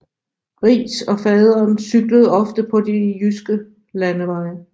Riis og faderen cyklede ofte på de jyske landeveje